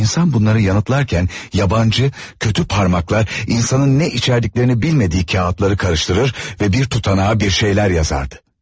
İnsan bunları yanıtlarkən, yabancı, kötü parmaklar, insanın nə içərdiklərini bilmədiyi kağızları qarışdırır və bir tutanağa bir şeylər yazırdı.